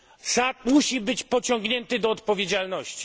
Assad musi być pociągnięty do odpowiedzialności.